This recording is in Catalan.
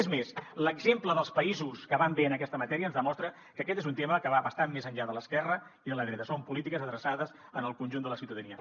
és més l’exemple dels països que van bé en aquesta matèria ens demostra que aquest és un tema que va bastant més enllà de l’esquerra i de la dreta són polítiques adreçades al conjunt de la ciutadania